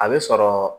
A bɛ sɔrɔ